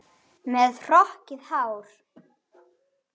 Með hrokkið hár.